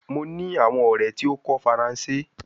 Mo ni awon ore ti o ko faranse